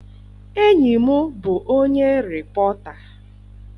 Enyi m bụ onye rịpọta.